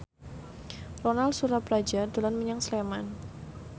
Ronal Surapradja dolan menyang Sleman